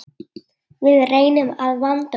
Við reynum að vanda okkur.